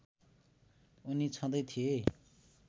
उनी छँदै थिए